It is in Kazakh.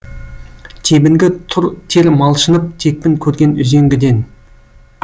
тебінгі тұр тер малшынып текпін көрген үзеңгіден